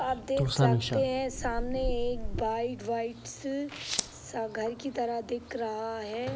आप देख सकते है सामने एक घर की तरह दिख रहा है।